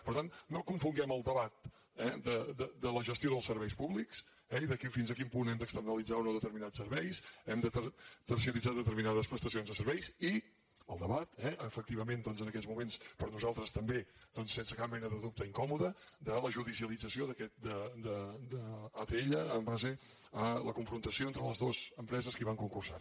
per tant no confonguem el debat de la gestió dels serveis públics i de fins a quin punt hem d’externalitzar o no determinats serveis hem de terciaritzar determinades prestacions de serveis i el debat eh efectivament en aquests moments per nosaltres també sense cap mena de dubte incòmode de la judicialització d’atll en base a la confrontació entre les dues empreses que hi van concursar